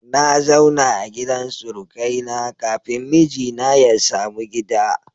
Na zauna a gidan surukai na kafin mijina ya samu gida